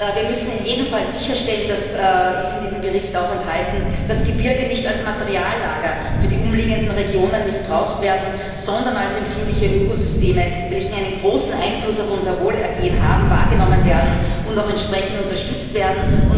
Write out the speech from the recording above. Wir müssen in jedem Fall sicherstellen, dass dies ist in diesem Bericht auch enthalten Gebirge nicht als Materiallager für die umliegenden Regionen missbraucht werden, sondern als empfindliche Ökosysteme, welche einen großen Einfluss auf unser Wohlergehen haben, wahrgenommen und auch entsprechend unterstützt werden.